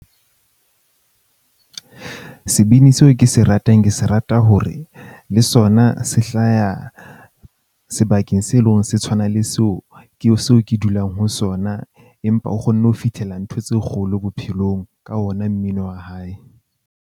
Sebini seo ke se ratang, ke se rata hore le sona se hlaya sebakeng, se leng se tshwana le seo ke so ke dulang ho sona. Empa o kgonne ho fitlhella ntho tse kgolo bophelong ka ona mmino wa hae.